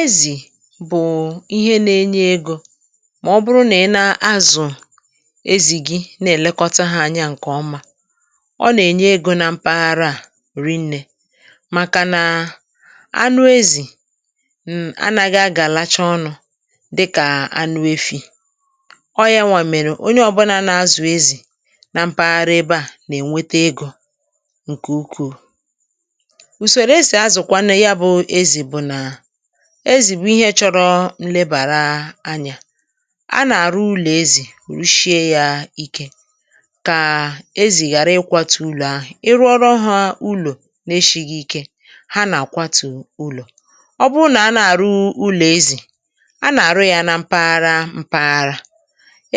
Ezì bụ̀ ihe nȧ-enye egȯ ma ọ̀bụrụ nà ị na-azụ̀ ezì gị̇ na-èlekọta hȧ anyȧ ǹkè ọma. Ọ nà-ènye egȯ na mpaghara à ri nnė, màkà nà anụ ezì um anaghị a ga-lacha ọnụ̇ dịkà anụ efi̇. Ọ yȧ nwà mèrè onye ọbụna na-azụ̀ ezì na mpaghara ebe à nà-ènwete egȯ ǹkè ukwuù. Usórò ési azụ kwanu yà bụ̀ ezì bụ̀ ná ezì bụ̀ ihe chọrọ nlèbàra anyȧ; anà-àrụ ụlọ̀ ezì rụ shié yȧ ike kà ezì ghàra ịkwȧtụ̇ ụlọ̀ ahụ̀. Ị rụọrọ hȧ ụlọ̀ n’ eshi̇ghi̇ ike ha nà-àkwatù ụlọ̀. Ọ bụrụ nà anà-àrụ ụlọ̀ ezì, a nà-àrụ yȧ nà mpaghara mpaghara.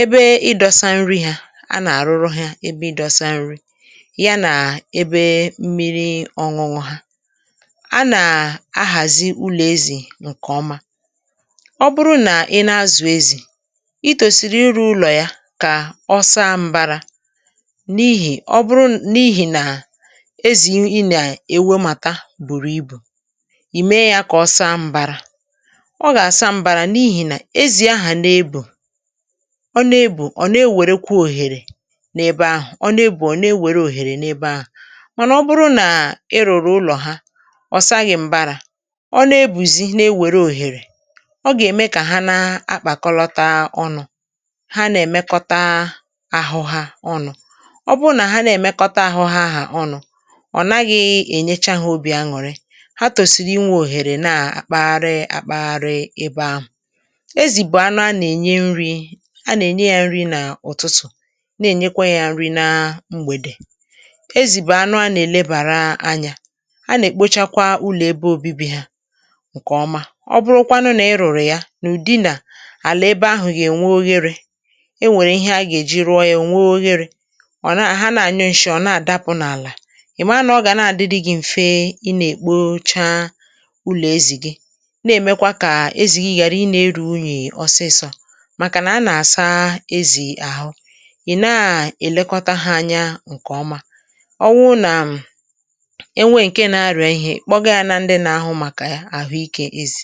Ebe ị dọsa nri hȧ a nà-àrụrụ hȧ ebe ịdọsa nri, ya nà ebe mmiri ọṅụṅụ̇ ha. A nà-ahazị́ ụlọ ezì nkè ọma;ọ bụrụ nà ị na-azụ̀ ezì, itòsìrì iru̇ ụlọ̀ yȧ kà ọ saa mbara. N’ihì ọ bụrụ n’ihì nà ezì ị nà-èwo màta bùrù ibù, ì mee yȧ kà ọ saa mbarȧ; ọ gà-àsa mbarȧ n’ihì nà ezì ahà n’ebù, ọ n’ebù ọ̀ na-ewèrekwu òhèrè n’ebe ahụ̀, ọ̀ na-ebù ọ̀ na-ewère òhèrè n’ebe ahụ̀. Mànà ọ bụrụ nà ị rụ̀rụ̀ ụlọ̀ ha ọ saghị̀ mbàrá, ọ na-ebùzi n’ewère òhèrè ọ gà-ème kà ha na-akpàkọlọta ọnụ̇, ha nà-èmekọta ahụ ha ọnụ̇; ọ bụ nà ha na-èmekọta ahụ ha ahà ọnụ̇ ọ̀ naghị̇ ènyecha ha obì añụ̀rị; ha tòsìrì inwė òhèrè naà akpagharị akpagharị ebe ahụ̀. Ezì bù anụ a nà-ènye nri̇ a nà-ènye yȧ nri n’ụ̀tụtụ̀, na-ènyekwa yȧ nri na mgbèdè. Ezì bụ̀ anụ a nà-èlebàra anyȧ; a nà-èkpocha kwa ụlọ ébé obíbì ha ǹkèọma. Ọbụrụkwanụ nà ị rụ̀rụ̀ ya n’ùdị̀ nà àlà ebe ahụ̀ gà-ènwe ogherė, enwèrè ihe a gà-èji rụọ ya ò nwee ogherė; ọ̀ na hà na-ànyụ ǹshị ọ̀ na-àdapụ̀ n’àlà, ị̀ mara nà ọ gà na-àdịdị gị̇ m̀fe ị nà-èkpocha ụlọ̀ ezì gị; na-èmekwa kà ezì gị ghàra ị nà-eru̇ unyì osisò. Màkà nà a nà-àsa ezì àhụ, ị̀ na-èlekọta hȧ anya ǹkèọma; ọwụ nà enwe ǹke na-arịà ihe ị kpọga ya na ndị na-ahụ maka ahụịke ezì.